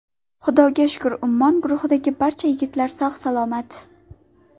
Xudoga shukr, ‘Ummon’ guruhidagi barcha yigitlar sog‘-salomat.